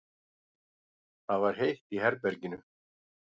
Það var heitt í herberginu.